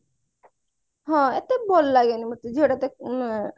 ହଁ ଏତେ ଭଲ ଲାଗେନି ଏତେ ଝିଅଟା